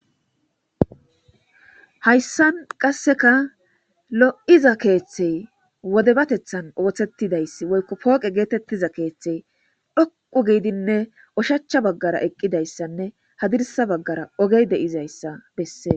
Haysan qaseka lo'iza keethey wodebatethan oothetidi woyko pooqe getetiza keethey dhoqu giidinne oshacha bagara eqidaysanne hadirsa bagara ogey de'izaysa besses